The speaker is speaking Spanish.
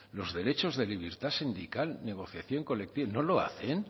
los derechos de libertad sindical negociación colectiva no lo hacen